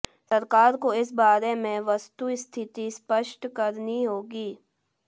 सरकार को इस बारे में वस्तुस्थिति स्पष्ट करनी होगी